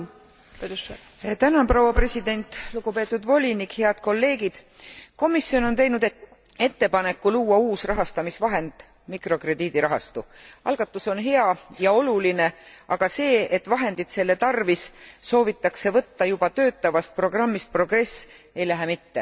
Austatud istungi juhataja! Lugupeetud volinik, head kolleegid! Komisjon on teinud ettepaneku luua uus rahastamisvahend mikrokrediidirahastu. Algatus on hea ja oluline, aga see, et vahendid selle tarvis soovitakse võtta juba töötavast programmist Progress, ei lähe mitte.